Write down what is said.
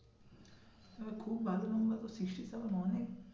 খুব ভালো number তো sixty seven অনেক